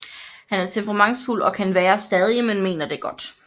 Han er temperamentsfuld og kan være stadig men mener det godt